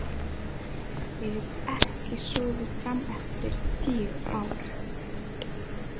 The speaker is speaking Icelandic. Ég hef ekki sofið frameftir í tíu ár.